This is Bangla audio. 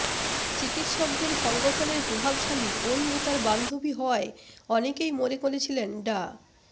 চিকিৎসকদের সংগঠনের প্রভাবশালী ওই নেতার বান্ধবী হওয়ায় অনেকেই মনে করেছিলেন ডা